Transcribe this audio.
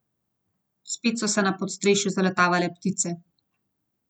Spet so se na podstrešju zaletavale ptice.